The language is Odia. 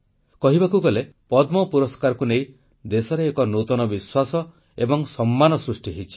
କହିବାକୁ ଗଲେ ପଦ୍ମ ପୁରସ୍କାରକୁ ନେଇ ଦେଶରେ ଏକ ନୂତନ ବିଶ୍ୱାସ ଏବଂ ସମ୍ମାନ ସୃଷ୍ଟି ହୋଇଛି